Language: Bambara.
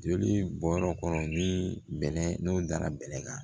Joli bɔyɔrɔ kɔrɔ ni bɛnɛ n'o dara bɛlɛ kan